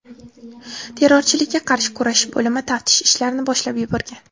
Terrorchilikka qarshi kurashish bo‘limi taftish ishlarini boshlab yuborgan.